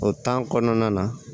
O kɔnɔna na